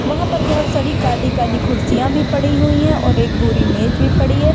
वहाँ पर बोहोत सारी काली-काली खुर्सियां भी पड़ी हुई हैं और एक भूरी मेज भी पड़ी है।